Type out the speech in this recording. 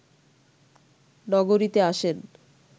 নগরীতে আসেন